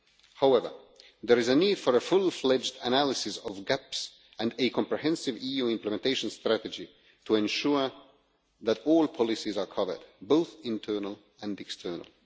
However, there is a need for a fully fledged analysis of gaps and a comprehensive EU implementation strategy to ensure that all policies are covered, both internal and external.